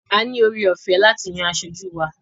A ní ore ọ̀fẹ́ láti yan asojú wa.